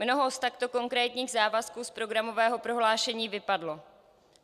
Mnoho z takto konkrétních závazků z programového prohlášení vypadlo.